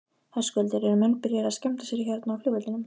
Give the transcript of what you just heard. Höskuldur: Eru menn byrjaðir að skemmta sér hérna á flugvellinum?